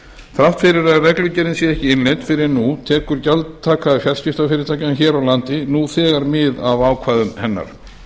þrátt fyrir að reglugerðin sé ekki innleidd fyrr en nú tekur gjaldtaka fjarskiptafyrirtækjanna hér á landi nú þegar mið af ákvæðum hennar